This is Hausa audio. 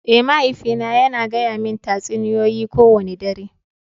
Eh, mahaifina yana gaya mani tatsuniyoyi kowane dare.